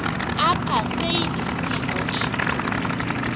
apha seyilisiko into